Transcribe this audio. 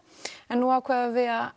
en nú ákváðum við